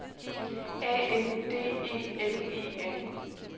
A N D E L E N